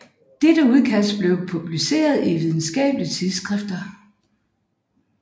Dette udkast blev publiceret i videnskabelige tidsskrifter